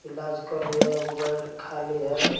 इलाज कर रही है एक गो बेड खाली है।